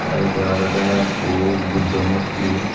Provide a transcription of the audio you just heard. te ebey olode ikku buddo murti.